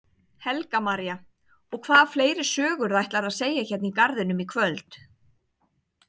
Helga María: Og hvaða fleiri sögur ætlarðu að segja hérna í garðinum í kvöld?